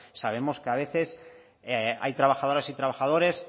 sabemos que a veces hay trabajadoras y trabajadores